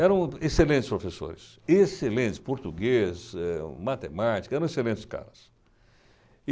Eram excelentes professores, excelentes, português, eh, matemática, eram excelentes caras.